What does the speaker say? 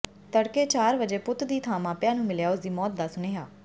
ਤੜਕੇ ਚਾਰ ਵਜੇ ਪੁੱਤ ਦੀ ਥਾਂ ਮਾਪਿਆਂ ਨੂੰ ਮਿਲਿਆ ਉਸ ਦੀ ਮੌਤ ਦਾ ਸੁਨੇਹਾ